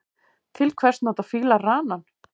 Til hvers nota fílar ranann?